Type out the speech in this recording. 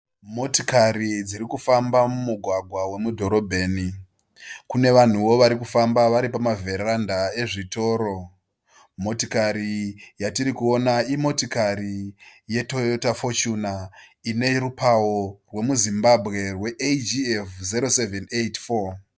Motikari dzirikufamba mumugwagwa wemudhorobheni. Kune vanhuwo varikufamba variipa vheranda ezvitoro. Motikari yatiri kuona imotikari ye Toyota Fochuna inerupawo wemu Zimbabwe we ATM- 0784.